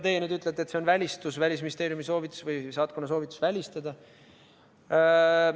Teie nüüd ütlete, et see oli Välisministeeriumi või saatkonna soovitus välistada.